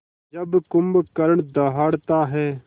जब कुंभकर्ण दहाड़ता है